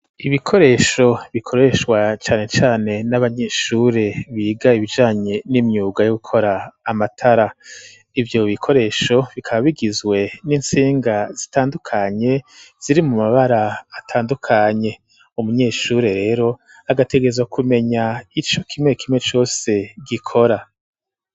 Ibikoresho bikoreshwa cane cane n'abanyeshure biga ibijanye n'imyuga yo gukora amatara, ivyo bikoresho bikaba bigizwe n'intsinga zitandukanye ziri mu mabara atandukanye umunyeshure rero agategerezwa kumenya ico kimwe kimwe cose gikora.